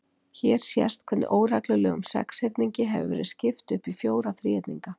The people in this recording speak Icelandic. Hér sést hvernig óreglulegum sexhyrningi hefur verið skipt upp í fjóra þríhyrninga.